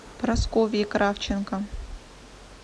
прасковьи кравченко